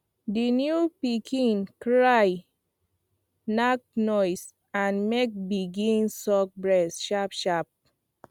the new pikin cry nake noise and come begin suck breast sharp sharp